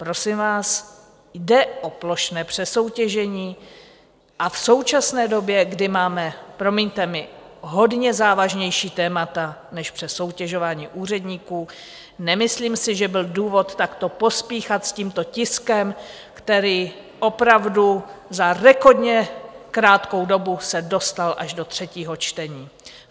Prosím vás, jde o plošné přesoutěžení a v současné době, kdy máme, promiňte mi, hodně závažnější témata než přesoutěžování úředníků, nemyslím si, že byl důvod takto pospíchat s tímto tiskem, který opravdu za rekordně krátkou dobu se dostal až do třetího čtení.